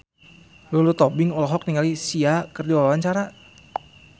Lulu Tobing olohok ningali Sia keur diwawancara